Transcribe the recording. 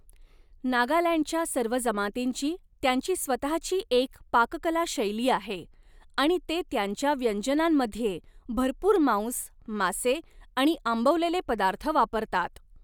नागालँडच्या सर्व जमातींची त्यांची स्वतःची एक पाककला शैली आहे आणि ते त्यांच्या व्यंजनांमध्ये भरपूर मांस, मासे आणि आंबवलेले पदार्थ वापरतात.